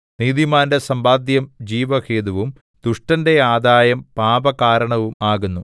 നീതിമാന്റെ സമ്പാദ്യം ജീവഹേതുവും ദുഷ്ടന്റെ ആദായം പാപകാരണവും ആകുന്നു